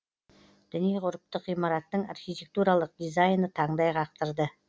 діни ғұрыптық ғимараттың архитектуралық дизайны таңдай қақтырды